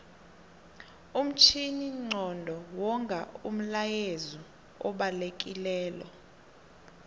umtjhininqondo wonga umlayezu obalekilelo